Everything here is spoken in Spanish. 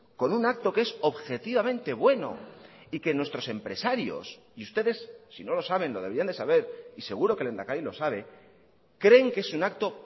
con un acto que es objetivamente bueno y que nuestros empresarios y ustedes si no lo saben lo deberían de saber y seguro que el lehendakari lo sabe creen que es un acto